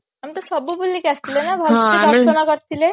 ଆମେ ତ ସବୁ ବୁଲିକି ଆସିଥିଲେ ଦର୍ଶନ କରିଥିଲେ